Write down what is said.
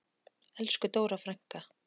Elsku Dóra frænka.